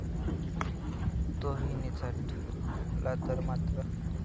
तोही निसटला तर मात्र.